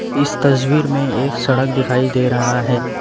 इस तस्वीर में एक सड़क दिखाई दे रहा है।